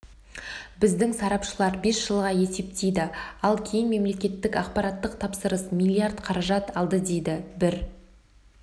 біздің сарапшылар бес жылға есептейді ал кейін мемлекеттік ақпараттық тапсырыс миллиард қаражат алды дейді бір